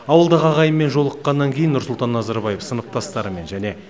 ауылдағы ағайынмен жолыққаннан кейін нұрсұлтан назарбаев сыныптастарымен және